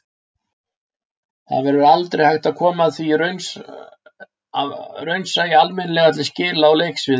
Það verður aldrei hægt að koma því raunsæi almennilega til skila á leiksviði.